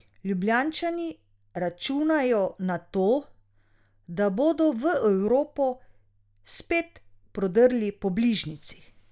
Ljubljančani računajo na to, da bodo v Evropo spet prodrli po bližnjici.